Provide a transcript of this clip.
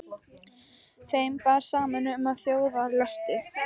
Þeim bar saman um, að þjóðarlöstur